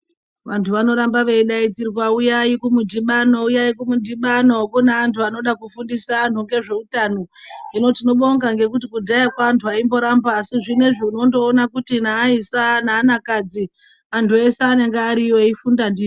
Vantu vanoramba veidaidzirwa uyai kumudhibano uyai kumudhibano kune antu anode kufundisa antu ngezveutano. Hino tinobonga ngekuti kudhayako antu aimboramba asi zvinoizvi unondoona kuti naaisa naanakadzi antu ese anenge ariyo eifunda ndizvo.